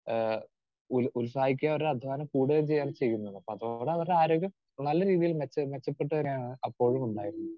Speaker 2 ഏഹ് ഉൽ ഉത്സാഹിക്കുകയും അവരുടെ അധ്വാനം കൂടുകയും ചെയ്യുകയാണ് ചെയ്യുന്നത്. അപ്പോ അവിടെ അവരുടെ ആരോഗ്യം നല്ല രീതിയിൽ മെച്ച മെച്ചപ്പെട്ടു വരികയാണ് അപ്പോഴും ഉണ്ടായിരുന്നത്.